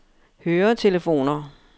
høretelefoner